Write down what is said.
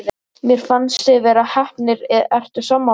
Mér fannst þið vera heppnir, ertu sammála því?